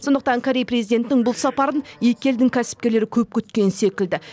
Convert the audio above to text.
сондықтан корея президентінің бұл сапарын екі елдің кәсіпкерлері көп күткен секілді